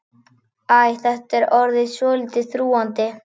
Æ, þetta er orðið svolítið þrúgandi.